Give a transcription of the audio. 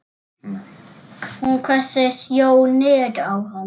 Hún hvessir sjónir á hann.